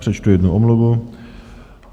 Přečtu jednu omluvu.